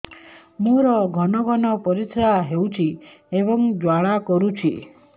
ମୋର ଘନ ଘନ ପରିଶ୍ରା ହେଉଛି ଏବଂ ଜ୍ୱାଳା କରୁଛି